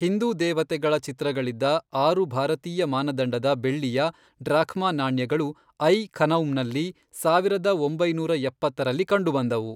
ಹಿಂದೂ ದೇವತೆಗಳ ಚಿತ್ರಗಳಿದ್ದ ಆರು ಭಾರತೀಯ ಮಾನದಂಡದ ಬೆಳ್ಳಿಯ ಡ್ರಾಖ್ಮಾ ನಾಣ್ಯಗಳು ಐ ಖನೌಮ್ನಲ್ಲಿ, ಸಾವಿರದ ಒಂಬೈನೂರ ಎಪ್ಪತ್ತರಲ್ಲಿ ಕಂಡುಬಂದವು.